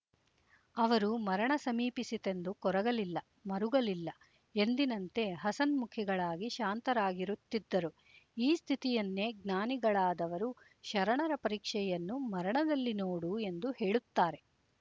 ಅವರು ಮರಣ ಸಮಿಪಿಸಿತೆಂದು ಕೊರಗಲಿಲ್ಲ ಮರುಗಲಿಲ್ಲ ಎಂದಿನಂತೆ ಹಸನ್ಮುಖಿಗಳಾಗಿ ಶಾಂತರಾಗಿರುತ್ತಿದ್ದರು ಈ ಸ್ಥಿತಿಯನ್ನೇ ಜ್ಞಾನಿಗಳಾದವರು ಶರಣರ ಪರೀಕ್ಷೆಯನ್ನು ಮರಣದಲ್ಲಿ ನೋಡು ಎಂದು ಹೇಳುತ್ತಾರೆ